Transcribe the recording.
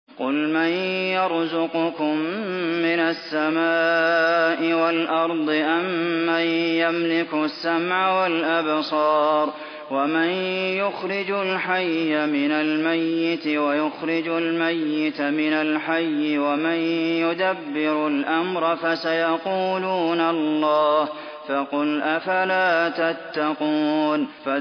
قُلْ مَن يَرْزُقُكُم مِّنَ السَّمَاءِ وَالْأَرْضِ أَمَّن يَمْلِكُ السَّمْعَ وَالْأَبْصَارَ وَمَن يُخْرِجُ الْحَيَّ مِنَ الْمَيِّتِ وَيُخْرِجُ الْمَيِّتَ مِنَ الْحَيِّ وَمَن يُدَبِّرُ الْأَمْرَ ۚ فَسَيَقُولُونَ اللَّهُ ۚ فَقُلْ أَفَلَا تَتَّقُونَ